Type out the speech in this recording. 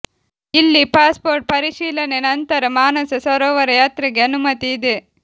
ಇಲ್ಲಿ ಪಾಸ್ಪೋರ್ಟ್ ಪರಿಶೀಲನೆ ನಂತರ ಮಾನಸ ಸರೋವರ ಯಾತ್ರೆಗೆ ಅನುಮತಿ ಇದೆ